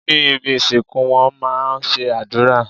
Ní ibi ìsìnkú wón má a ń ṣe àdúrà